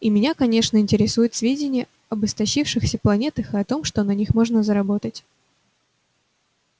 и меня конечно интересуют сведения об истощившихся планетах и о том что на них можно заработать